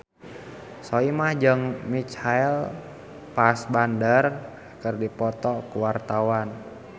Soimah jeung Michael Fassbender keur dipoto ku wartawan